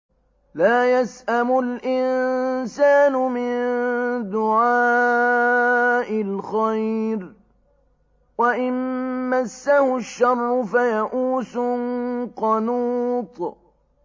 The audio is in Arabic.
لَّا يَسْأَمُ الْإِنسَانُ مِن دُعَاءِ الْخَيْرِ وَإِن مَّسَّهُ الشَّرُّ فَيَئُوسٌ قَنُوطٌ